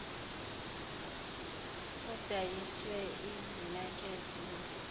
kudayiswe ezimakhethe zasekhaya